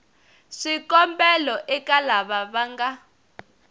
swikombelo eka lava va nga